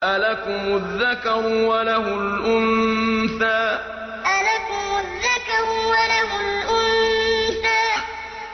أَلَكُمُ الذَّكَرُ وَلَهُ الْأُنثَىٰ أَلَكُمُ الذَّكَرُ وَلَهُ الْأُنثَىٰ